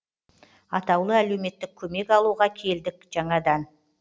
атаулы әлеуметтік көмек алуға келдік жаңадан